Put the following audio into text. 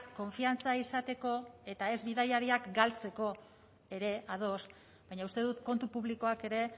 konfiantza izateko eta ez bidaiariak galtzeko ere ados baina uste dut kontu publikoak ere